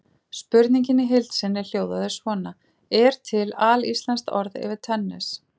Spurningin í heild sinni hljóðaði svona: Er til alíslenskt orð yfir tennis?